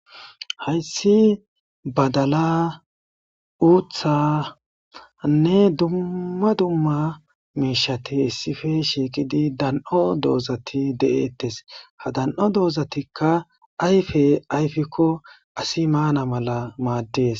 hayssi badala uuthanne dumma dumma mishati hissife shiiqidi dan7o doozati de7eettes ha dan7o doozatikka ayfe ayfikko asi maana mala maaddees